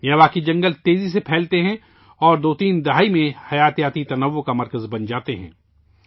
Miyawaki جنگل تیزی سے پھیلتے ہیں اور دو سے تین دہائیوں میں حیاتیاتی تنوع کا مرکز بن جاتے ہیں